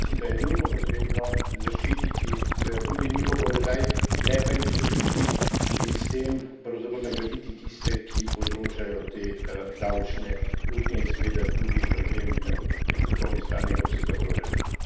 Zato mislim, da je nujno potrebno zaščititi seveda tudi njihov položaj, ne pa jim soditi in s tem pravzaprav nagraditi tiste, ki povzročajo te davčne luknje in seveda tudi problem na prihodkovni strani evropskega proračuna.